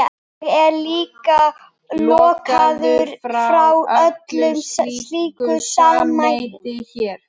Ég er líka lokaður frá öllu slíku samneyti hér.